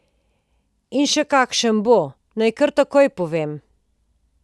In še kakšen bo, naj kar takoj povem.